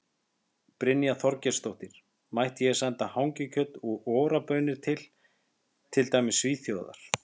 Brynja Þorgeirsdóttir: Mætti ég senda hangikjöt og Ora baunir til, til dæmis Svíþjóðar?